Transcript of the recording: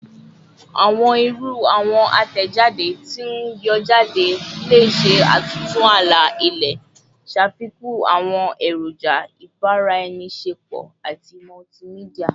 Awọn iru awọn atẹjade ti n yọ jade le ṣe atuntu ala-ilẹ, ṣafikun awọn eroja ibaraenisepo ati multimedia